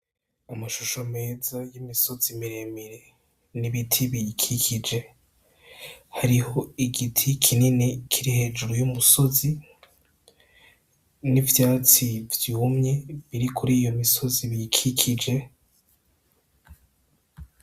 Amashusho meza y'imisozi mire mire n' ibiti biyikikije hariho igiti kinini kiri hejuru y' umusozi n' ivyatsi vyumye biri kuriyo misozi iyikikije.